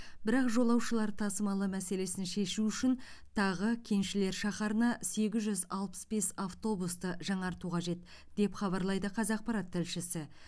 бірақ жолаушылар тасымалы мәселесін шешу үшін тағы кеншілер шаһарына сегіз жүз алпыс бес автобусты жаңарту қажет деп хабарлайды қазақпарат тілшісі